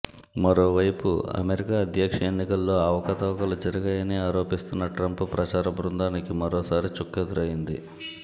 మరోవైపు అమెరికా అధ్యక్ష ఎన్నికల్లో అవకతవకలు జరిగాయని ఆరోపిస్తున్న ట్రంప్ ప్రచార బృందానికి మరోసారి చుక్కెదురైంది